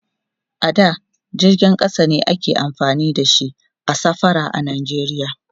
a da jirgin ƙasa ne ake amfani da shi a safara a nigeria